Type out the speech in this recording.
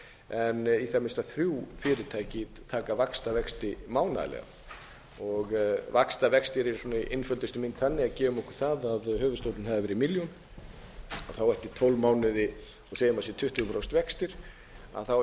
en í það minnsta þrjú fyrirtæki taka vaxtavexti mánaðarlega vaxtavextir eru sinni einföldustu mynd þannig að gefum okkur það að höfuðstóllinn hafi verið milljón eftir tólf mánuði og segjum að sé tuttugu prósent vextir eftir